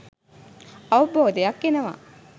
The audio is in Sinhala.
අවබෝධයක් එනවා